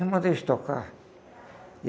Então manda eles tocar.